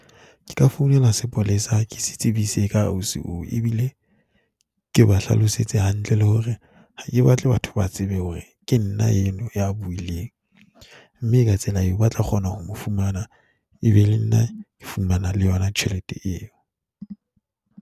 Ke ka founela sepolesa, ke se tsebise ka ausi oo. Ebile ke ba hlalosetse hantle le hore ha ke batle batho ba tsebe hore ke nna eno ya buileng, mme ka tsela eo ba tla kgona ho mo fumana e be le nna ke fumana le yona tjhelete eo.